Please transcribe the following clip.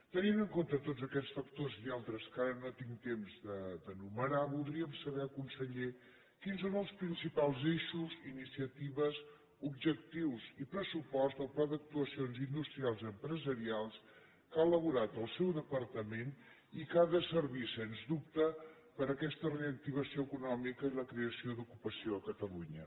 tenint en compte tots aquests factors i altres que ara no tinc temps d’enumerar voldríem saber conseller quins són els principals eixos iniciatives objectius i pressupost del pla d’actuacions industrials i empresarials que ha elaborat el seu departament i que ha de servir sens dubte per a aquesta reactivació econòmica i la creació d’ocupació a catalunya